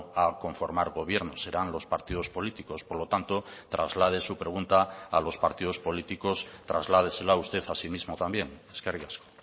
a conformar gobierno serán los partidos políticos por lo tanto traslade su pregunta a los partidos políticos trasládesela usted a sí mismo también eskerrik asko